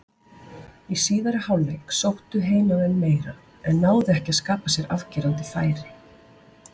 Í síðari hálfleik sóttu heimamenn meira en náðu ekki að skapa sér afgerandi færi.